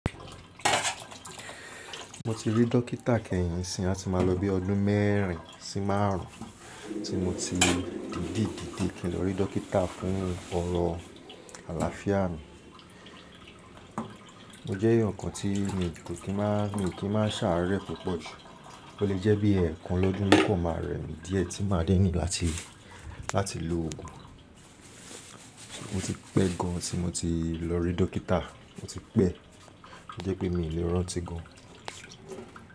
Mo ti rí dókítà kẹ́yìn nisìnyí á ti ma lọ bí ọdún mẹ́rin sí márùn-ún tí mo ti dìdì dìdí kí n lọ rí dókítà fún ọrọ̀ àlàáfíà mi. O jẹ́ ǹkan tí mi kò kí máa, mi kì í máa ṣàárẹ̀ púpọ̀ jù. O lè jẹ́ bí ẹ̀ẹ̀kan lọ́dún ni o kan máa rẹ mí díẹ̀ tí máa dín ni láti, láti lo oògùn. Mo ti pẹ́ gan tí mo ti lọ rí dókítà, mo ti pẹ́. Ó jẹ́ pé mi ò lè rántí gan.